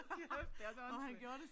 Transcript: Hold kæft det er så åndssvagt